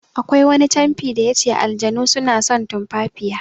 Akwai wani canfi da yace "Aljanu suna son tumfafiya".